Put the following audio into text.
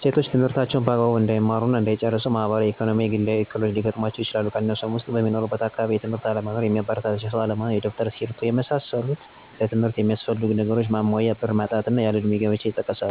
ሴቶች ትምህርታቸውን በአግባቡ እንዳይማሩ እና እንዳይጨርሱ ማህበራዊ፣ ኢኮኖሚያዊ እና ግላዊ እክሎች ሊገጥሙአቸው ይችላል። ከነሱም ውስጥ፦ በሚኖሩበት አቅራቢያ የ ትምህርት ቤት አለመኖር፣ የሚያበረታታቸው ሰው አለመኖር፣ የደብተር፤ እስክርቢቶ እና ሌሎችም ለትምህርት ሚያስፈልጉ ነገሮች ማሟያ ብር ማጣት፣ ያለ እድሜ ጋብቻ ይጠቀሳሉ።